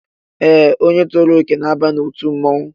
Ee, onye tozuru okè na-aba n'otu mmọnwụ